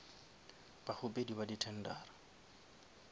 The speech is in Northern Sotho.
bakgopedi ba di tendera